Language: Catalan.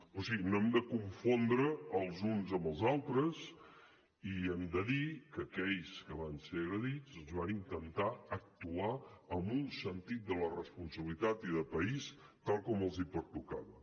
o sigui no hem de confondre els uns amb els altres i hem de dir que aquells que van ser agredits van intentar actuar amb un sentit de la responsabilitat i de país tal com els pertocava